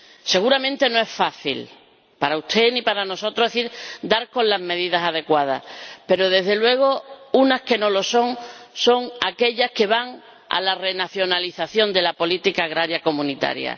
Seguramente no es fácil, ni para usted ni para nosotros, dar con las medidas adecuadas, pero, desde luego, las que no lo son son aquellas que van a la renacionalización de la política agrícola comunitaria.